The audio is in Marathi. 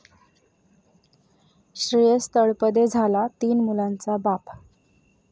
श्रेयस तळपदे झाला तीन मुलांचा बाप